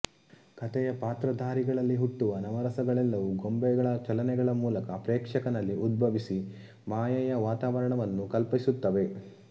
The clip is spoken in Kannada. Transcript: ಕಥೆಯ ಪಾತ್ರಧಾರಿಗಳಲ್ಲಿ ಹುಟ್ಟುವ ನವರಸಗಳೆಲ್ಲವೂ ಗೊಂಬೆಗಳ ಚಲನೆಗಳ ಮೂಲಕ ಪ್ರೇಕ್ಷಕನಲ್ಲಿ ಉದ್ಭವಿಸಿ ಮಾಯೆಯ ವಾತಾವರಣವನ್ನು ಕಲ್ಪಿಸುತ್ತವೆ